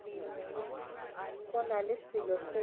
go na le selo se